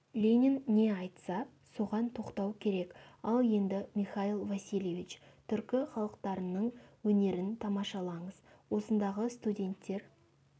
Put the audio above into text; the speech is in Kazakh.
ленин не айтса соған тоқтау керек ал енді михаил васильевич түркі халықтарының өнерін тамашалаңыз осындағы студенттер